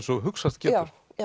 og hugsast getur